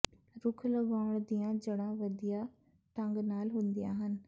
ਰੁੱਖ ਲਗਾਉਣ ਦੀਆਂ ਜੜ੍ਹਾਂ ਵਧੀਆ ਢੰਗ ਨਾਲ ਹੁੰਦੀਆਂ ਹਨ